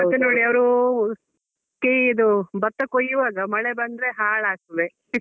ಮತ್ತೆ ನೋಡಿ ಅವ್ರು ಕೆಯ್ಯಿ ಇದು ಭತ್ತ ಕೊಯ್ಯುವಾಗ ಮಳೆ ಬಂದ್ರೆ ಹಾಳಾಗ್ತದೆ.